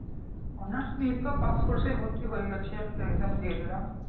Honours নিয়ে তো পাসকোর্সেই ভর্তি হয়ে গেছি একটা Exam দিয়ে দিলাম ।